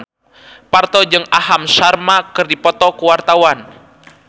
Parto jeung Aham Sharma keur dipoto ku wartawan